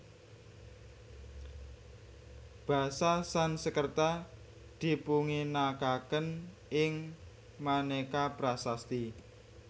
Basa Sanskerta dipunginakaken ing maneka prasasti